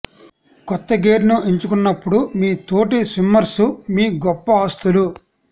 కొత్త గేర్ను ఎంచుకున్నప్పుడు మీ తోటి స్విమ్మర్స్ మీ గొప్ప ఆస్తులు